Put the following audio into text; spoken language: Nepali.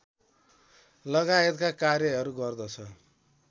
लगायतका कार्यहरू गर्दछ